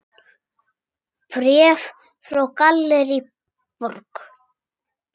Bréf frá Gallerí Borg.